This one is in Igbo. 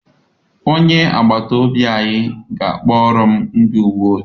Onye agbata obi anyị ga-akpọrọ m ndị uwe ojii.